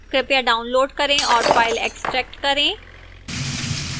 कृपया download करें और file extract करें